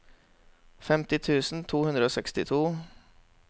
femti tusen to hundre og sekstito